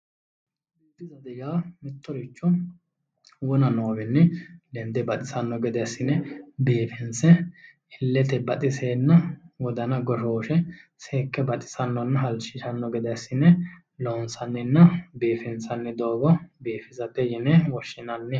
Biifisate yaa mittoricho wona noowiinni lende baxisanno gede assine biifinse illete baxisenna wodana goshooshe seekke baxisannonna halchishanno gede assine loonsaanninna biifinsanni doogo biifisate yine woshshinanni.